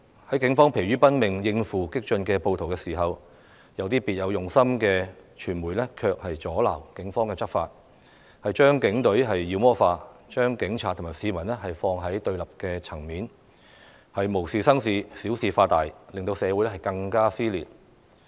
當警方疲於奔命應付激進暴徒的時候，有些別有用心的傳媒卻阻撓警方執法，把警隊妖魔化，把警察與市民放在對立層面，無事生事，小事化大，令社會更加撕裂。